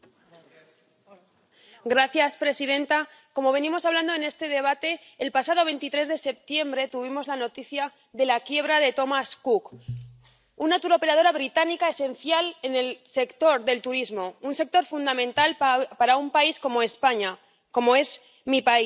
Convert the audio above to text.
Señora presidenta, como venimos hablando en este debate, el pasado 23 de septiembre tuvimos la noticia de la quiebra de Thomas Cook, un turoperador británico esencial en el sector del turismo, un sector fundamental para un país como España, mi país.